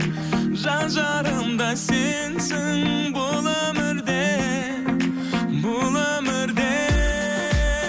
жан жарым да сенсің бұл өмірде бұл өмірде